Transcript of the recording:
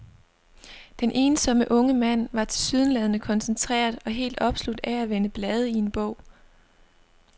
Den ensomme unge mand var tilsyneladende koncentreret og helt opslugt af at vende blade i en bog.